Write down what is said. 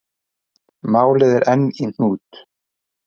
Málið er enn í hnút.